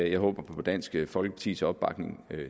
jeg håber på dansk folkepartis opbakning